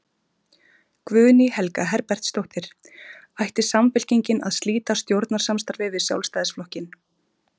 Guðný Helga Herbertsdóttir: Ætti Samfylking að slíta stjórnarsamstarfi við Sjálfstæðisflokkinn?